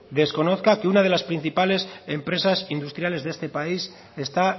desconozca que una de las principales empresas industriales de este país está